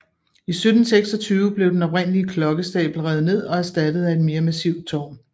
I 1726 blev den oprindelige klokkestabel revet ned og erstattet af et mere massivt tårn